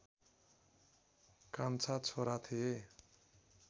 कान्छा छोरा थिए